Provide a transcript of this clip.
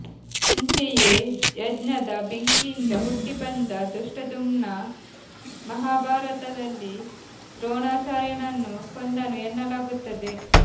ಅಂತೆಯೇ ಯಜ್ಞದ ಬೆಂಕಿಯಿಂದ ಹುಟ್ಟಿ ಬಂದ ದೃಷ್ಟದ್ಯುಮ್ನ ಮಹಾಭಾರತದಲ್ಲಿ ದ್ರೋಣಾಚಾರ್ಯನನ್ನು ಕೊಂದನು ಎನ್ನಲಾಗುತ್ತದೆ